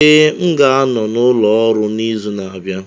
Ee, m ga-anọ n'ụlọ ọrụ n'izu na-abịa